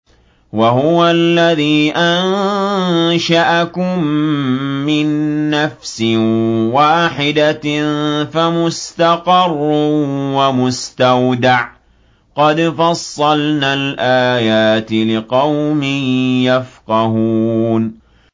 وَهُوَ الَّذِي أَنشَأَكُم مِّن نَّفْسٍ وَاحِدَةٍ فَمُسْتَقَرٌّ وَمُسْتَوْدَعٌ ۗ قَدْ فَصَّلْنَا الْآيَاتِ لِقَوْمٍ يَفْقَهُونَ